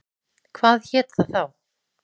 Hvað hét það þá?